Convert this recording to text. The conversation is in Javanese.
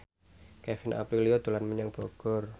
Kevin Aprilio dolan menyang Bogor